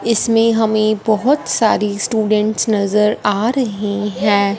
इसमें हमें बहुत सारी स्टूडेंट्स नजर आ रही हैं।